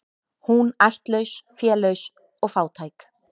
Hún ættlaus, félaus og fátæk.